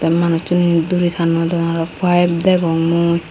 manusuney duri tanodon aro paep degong mui.